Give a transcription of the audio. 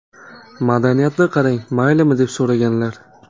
Madaniyatni qarang, maylimi, deb so‘raganlar.